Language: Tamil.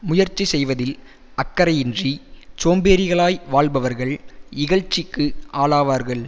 முயற்சி செய்வதில் அக்கறையின்றிச் சோம்பேறிகளாய் வாழ்பவர்கள் இகழ்ச்சிக்கு ஆளாவார்கள்